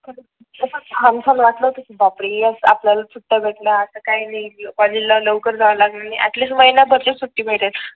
कस छान छान बापरे यस आपल्याला सुट्टी भेटल्या आता काही नाही कॉलेजला लवकर जाव लागणार नाही ऍटलीस्ट महिन्या भरची सुट्टी भेटेल